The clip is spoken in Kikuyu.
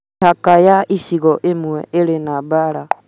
Mĩhaka ya icigo imwe ĩrĩ na mbara